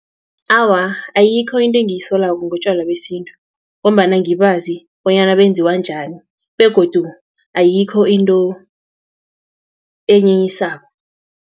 Awa, ayikho into engiyisolako ngotjwala besintu, ngombana ngibazi bonyana benziwa njani, begodu ayikho into enyenyisako.